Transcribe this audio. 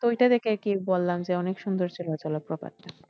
তো ওইটা দেখে আরকি বললাম যে অনেক সুন্দর ছিল জলপ্রপাতটা।